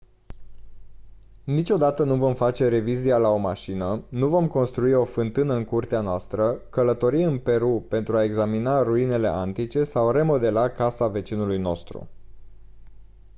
niciodată nu vom face revizia la o mașină nu vom construi o fântână în curtea noastră călători în peru pentru a examina ruinele antice sau remodela casa vecinului nostru